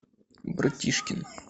братишкин